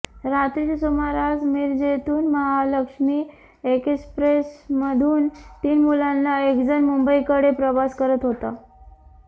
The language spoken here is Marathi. रात्रीच्या सुमारास मिरजेतून महालक्ष्मी एक्स्प्रेसमधून तीन मुलांना एकजण मुंबईकडे प्रवास करत होता